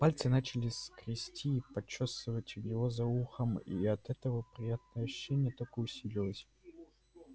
пальцы начали скрести и почёсывать у него за ухом и от этого приятное ощущение только усилилось